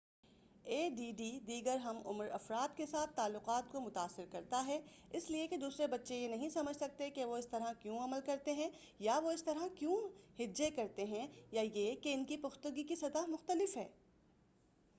اے D D دیگر ہم عمر افراد کے ساتھ تعلقات کو متاثر کرتا ہے اس لئے کہ دوسرے بچے یہ نہیں سمجھ سکتے کہ وہ اس طرح کیوں عمل کرتے ہیں یا وہ اس طرح کیوں ہجے کرتے ہیں یا یہ کہ ان کی پختگی کی سطح مختلف ہے